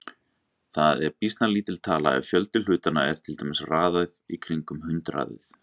Það er býsna lítil tala ef fjöldi hlutanna er til dæmis kringum hundraðið.